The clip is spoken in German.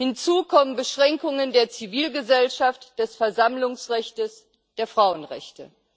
Hinzu kommen Beschränkungen der Zivilgesellschaft, des Versammlungsrechts, der Frauenrechte.